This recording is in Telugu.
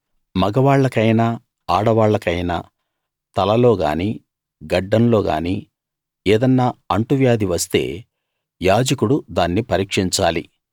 మగవాళ్ళకైనా ఆడవాళ్లకైనా తలలో గానీ గడ్డంలో గానీ ఏదన్నా అంటువ్యాధి వస్తే యాజకుడు దాన్ని పరీక్షించాలి